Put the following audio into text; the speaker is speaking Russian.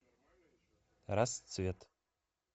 расцвет